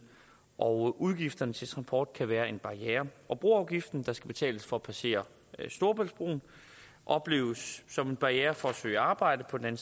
og udgifterne til transport kan være en barriere og broafgiften der skal betales for at passere storebæltsbroen opleves som en barriere for at søge arbejde på den